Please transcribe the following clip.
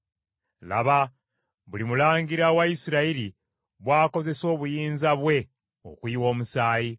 “ ‘Laba, buli mulangira wa Isirayiri bw’akozesa obuyinza bwe okuyiwa omusaayi.